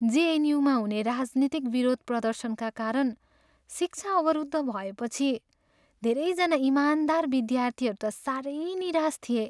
जेएनयूमा हुने राजनीतिक विरोध प्रदर्शनका कारण शिक्षा अवरुद्ध भएपछि धेरैजना इमानदार विद्यार्थीहरू त साह्रै निराश थिए।